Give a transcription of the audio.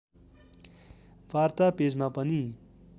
वार्ता पेजमा पनि